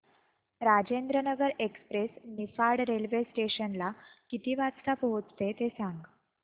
Rajendranagar express Niphad railway station ला किती वाजता पोहचते ते सांग